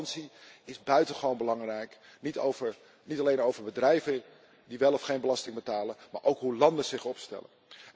Transparantie is immers buitengewoon belangrijk, niet alleen over bedrijven die wel of geen belasting betalen, maar ook over hoe landen zich opstellen.